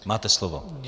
Máte slovo.